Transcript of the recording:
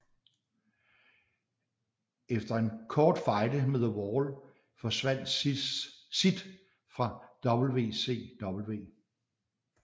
Efter en kort fejde med The Wall forsvandt Sid fra WCW